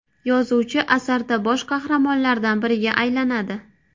Yozuvchi asarda bosh qahramonlardan biriga aylanadi.